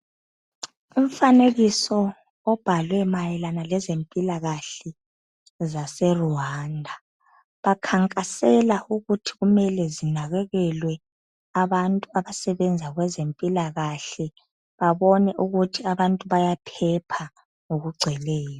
Umfanekiso obhalwe mayelana lezempilakahle, zaseRwanda. Bakhankasela ukuthi kumele zinakekelwe abantu abasebenza kwezempilakahle babone ukuthi abantu bayaphepha ngokugcweleyo.